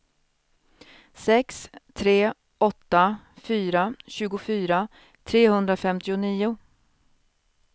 sex tre åtta fyra tjugofyra trehundrafemtionio